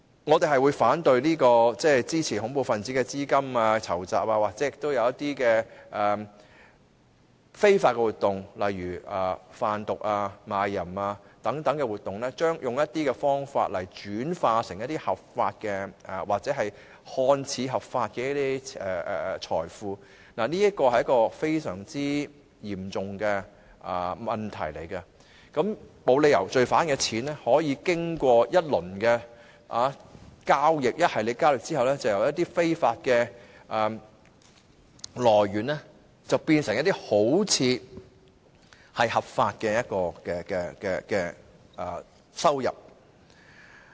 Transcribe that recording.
我們反對支持恐怖分子籌集資金進行或非法活動，例如販毒、賣淫等，透過一些方法將資金轉化為合法或看似合法的財富，這是非常嚴重的問題，我們沒有理由讓罪犯的金錢在經過多番交易後，由非法的來源變成看似合法的收入。